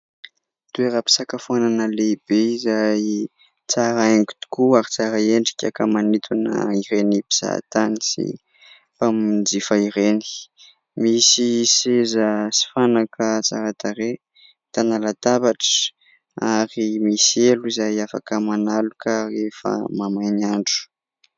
Toeram-pisakafoanana lehibe izay tsara haingo tokoa ary tsara endrika ka manintona ireny mpizahatany sy mpanjifa ireny. Misy seza sy fanaka tsara tarehy, ahitana latabatra ary misy elo izay afaka manaloka rehefa mahamay ny andro.